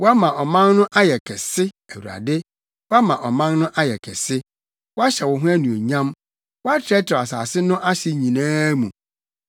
Woama ɔman no ayɛ kɛse, Awurade; woama ɔman no ayɛ kɛse; woahyɛ wo ho anuonyam; woatrɛtrɛw asase no ahye nyinaa mu.